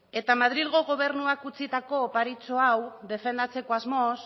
eta madrilgo gobernuak utzitako oparitxo hau defendatzeko asmoz